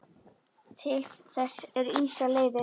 Til þess eru ýmsar leiðir.